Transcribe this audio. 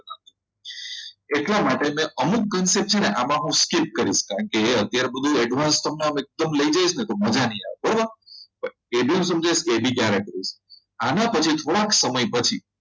એટલા માટે અમુક concept છે અને હું આમાં skip કરીશ કારણ કે અત્યારે બધું તમને advanced એકદમ લઈ જઈશ ને તો તો મજા નહીં આવે બરાબર આના પછી થોડાક સમય પછી